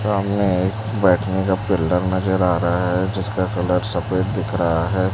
सामने बैठने का पिलर नजर आ रहा है जिसका कलर सफेद दिख रहा है।